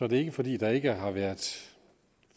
det ikke fordi der ikke har været